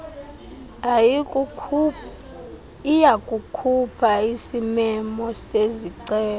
iyakukhupha isimemo sezicelo